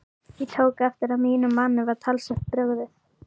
Ég tók eftir að mínum manni var talsvert brugðið.